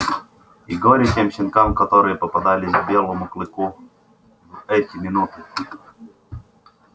и горе тем щенкам которые попадались белому клыку в эти минуты